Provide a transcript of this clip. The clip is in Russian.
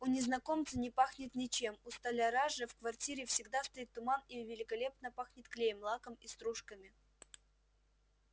у незнакомца не пахнет ничем у столяра же в квартире всегда стоит туман и великолепно пахнет клеем лаком и стружками